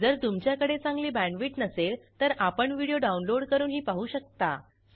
जर तुमच्याकडे चांगली बॅण्डविड्थ नसेल तर आपण व्हिडिओ डाउनलोड करूनही पाहू शकता